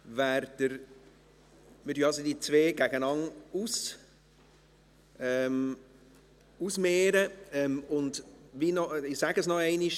Wir mehren also die zwei Anträge gegeneinander aus, und ich sage es noch einmal: